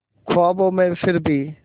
ख्वाबों में फिर भी